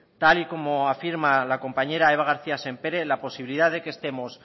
tal y como afirma la compañera eva garcía sempere la posibilidad de que estemos